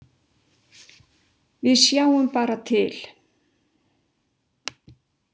Við sjáum bara til.